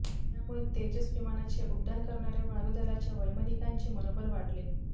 यामुळे तेजस विमानाचे उड्डाण करणाऱ्या वायुदलाच्या वैमानिकांचे मनोबल वाढेल